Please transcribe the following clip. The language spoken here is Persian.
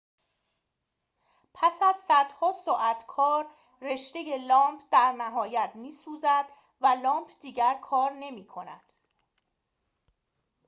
پس از صدها ساعت کار رشته لامپ در نهایت می‌سوزد و لامپ دیگر کار نمی‌کند